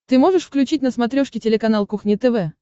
ты можешь включить на смотрешке телеканал кухня тв